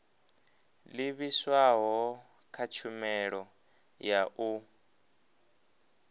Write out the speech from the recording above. livhiswaho kha tshumelo ya u